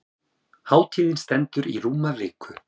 Hátíðin stendur í rúma viku.